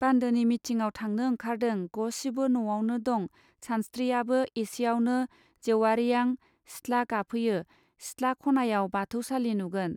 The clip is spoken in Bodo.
बान्दोनि मिथिङाव थांनो ओंखारदों गसिबो नआवनो दं सानस्त्रियाबो एसेआवनों जेउवारियां सिथ्ला गाफैयो सिथ्ला खनायाव बाथौ सालि नुगोन.